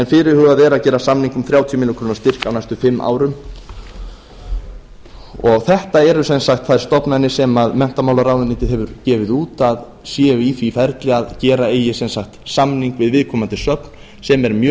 fyrirhugað er að gera samning um þrjátíu ár styrk á næstu fimm árum þetta eru sem sagt þær stofnanir sem menntamálaráðuneytið hefur gefið út að séu í því ferli að gera eigi samning við viðkomandi söfn sem er mjög